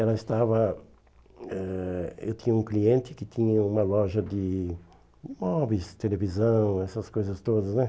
Ela estava... Eh eu tinha um cliente que tinha uma loja de móveis, televisão, essas coisas todas, né?